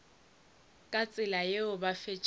ka tsela yeo ba fetša